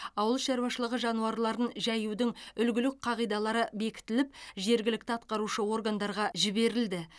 ауыл шаруашылығы жануарларын жаюдың үлгілік қағидалары бекітіліп жергілікті атқарушы органдарға жіберілді